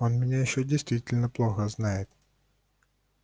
он меня ещё действительно плохо знает